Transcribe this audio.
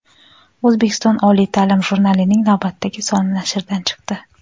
"O‘zbekistonda oliy taʼlim" jurnalining navbatdagi soni nashrdan chiqdi.